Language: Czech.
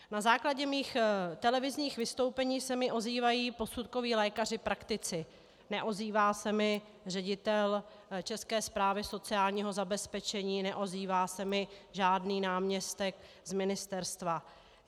Na základě mých televizních vystoupení se mi ozývají posudkoví lékaři praktici, neozývá se mi ředitel České správy sociálního zabezpečení, neozývá se mi žádný náměstek z ministerstva.